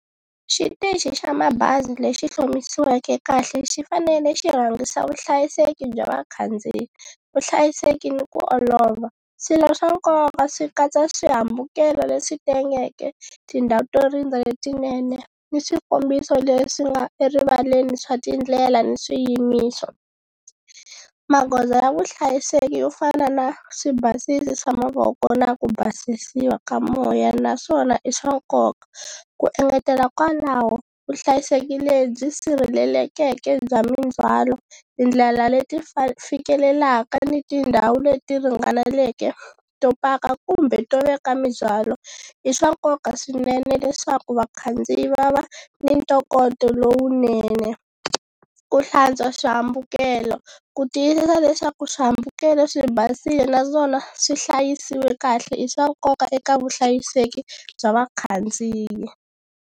Xitichi xa mabazi lexi hlomisiweke kahle xi fanele xi rhangisa vuhlayiseki bya vakhandziyi, vuhlayiseki ni ku olova swilo swa nkoka swi katsa swihambukelo leswi tengeke, tindhawu to rindza letinene ni swikombiso leswi nga erivaleni swa tindlela ni swiyimiso. Magoza ya vuhlayiseki yo fana na swibasisi swa mavoko na ku basisiwa ka moya na swona i swa nkoka ku engetela kwalaho vuhlayiseki lebyi sirhelelekeke bya mindzwalo, tindlela leti fikelelaka ni tindhawu leti ringaneleke to paka kumbe to veka mindzwalo i swa nkoka swinene leswaku vakhandziyi va va ni ntokoto lowunene ku hlantswa swihambukelo ku tiyisisa leswaku swihambukelo swi basile naswona swi hlayisiwile kahle i swa nkoka eka vuhlayiseki bya vakhandziyi.